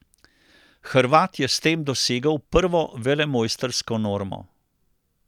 Hrvat je s tem dosegel prvo velemojstrsko normo.